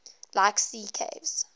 like sea caves